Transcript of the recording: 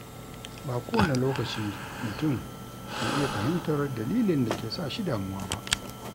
Ba kowane lokaci mutum ke iya fahimtar dalilin da ke sa shi damuwa ba.